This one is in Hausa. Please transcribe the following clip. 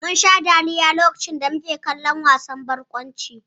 Munsha dariya mutuƙa lokacin da muke kallon wasan barkwancin.